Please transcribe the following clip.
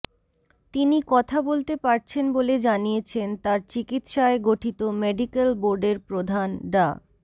তিনি কথা বলতে পারছেন বলে জানিয়েছেন তার চিকিৎসায় গঠিত মেডিক্যাল বোর্ডের প্রধান ডা